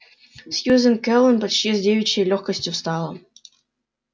сьюзен кэлвин почти с девичьей лёгкостью встала